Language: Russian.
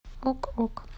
ок ок